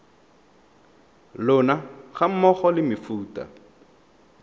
lona ga mmogo le mefuta